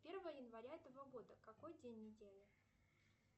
первое января этого года какой день недели